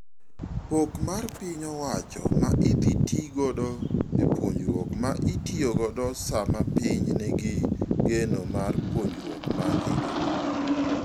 Pok mar piny owacho ma idhii tii godo e puonjruok ma itiyo godo sama piny ni gi geno mar puonjruok ma higni.